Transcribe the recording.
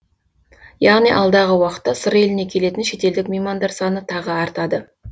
яғни алдағы уақытта сыр еліне келетін шетелдік меймандар саны тағы артады